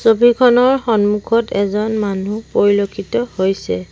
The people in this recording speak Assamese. ছবিখনৰ সন্মুখত এজন মানুহ পৰিলক্ষিত হৈছে।